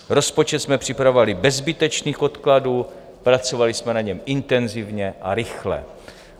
Rozpočet jsme připravovali bez zbytečných odkladů, pracovali jsme na něm intenzivně a rychle.